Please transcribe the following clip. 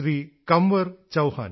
Kanwar Chouhan